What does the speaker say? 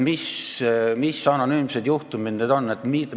Mis anonüümsed juhtumid need on?